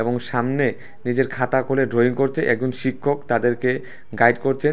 এবং সামনে নিজের খাতা খুলে ড্রয়িং করছে একজন শিক্ষক তাদেরকে গাইড করছেন।